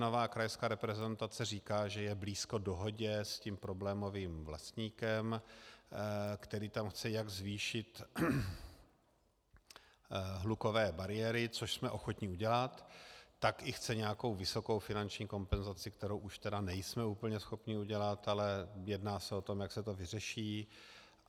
Nová krajská reprezentace říká, že je blízko dohodě s tím problémovým vlastníkem, který tam chce jak zvýšit hlukové bariéry, což jsme ochotni udělat, tak i chce nějakou vysokou finanční kompenzaci, kterou už tedy nejsme úplně schopni udělat, ale jedná se o tom, jak se to vyřeší.